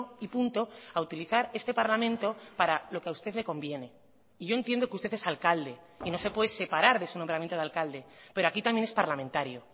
y punto a utilizar este parlamento para lo que a usted le conviene y yo entiendo que usted es alcalde y no se puede separar de su nombramiento de alcalde pero aquí también es parlamentario